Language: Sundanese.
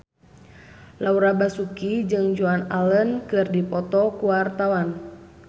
Laura Basuki jeung Joan Allen keur dipoto ku wartawan